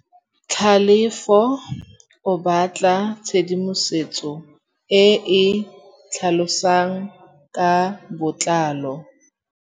Tlhalefô o batla tshedimosetsô e e tlhalosang ka botlalô.